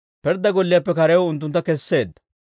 Pirddaa golliyaappe karew unttuntta kesseedda.